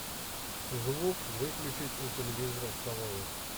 звук выключить у телевизора в столовой